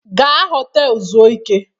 Gaa họtelụ zuo ike!